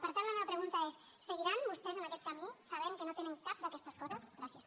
per tant la meva pregunta és seguiran vostès en aquest camí sabent que no tenen cap d’aquestes coses gràcies